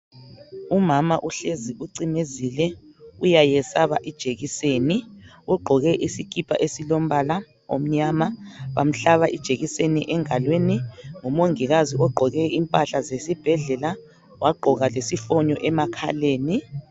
Umama uhlezi ucimezike, uyayesava ijekiseni ugqoke isikhipha esilombala omnyama bamhlaba ijekiseni engalweni ngumangikazi ogqoke impahla zesibhedlela wagqoka lesifonyo emakhaleni.